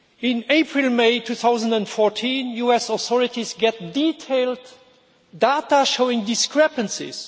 In April May 2014, US authorities get detailed data showing discrepancies.